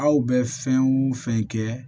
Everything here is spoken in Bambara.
Aw bɛ fɛn o fɛn kɛ